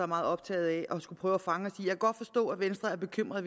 meget optaget af at prøve at fange os i jeg kan godt forstå at venstre er bekymret